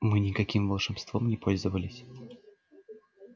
мы никаким волшебством не пользовались